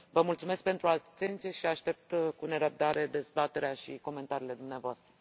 Vă mulțumesc pentru atenție și aștept cu nerăbdare dezbaterea și comentariile dumneavoastră.